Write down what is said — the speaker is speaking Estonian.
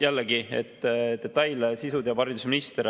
Jällegi, detaile ja sisu teab haridusminister.